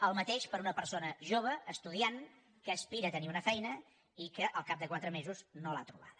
el mateix per a una persona jove estudiant que aspira a tenir una feina i que al cap de quatre mesos no l’ha trobada